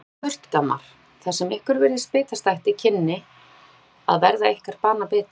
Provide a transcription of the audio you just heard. Víkið burt gammar, það sem ykkur virtist bitastætt í kynni að verða ykkar banabiti.